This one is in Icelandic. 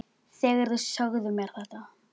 Er Lúlli hérna líka?